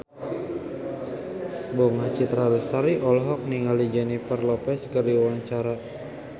Bunga Citra Lestari olohok ningali Jennifer Lopez keur diwawancara